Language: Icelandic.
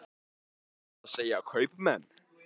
En hvað segja kaupmenn?